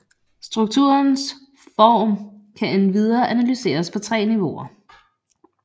Strukturernes form kan endvidere analyseres på tre niveauer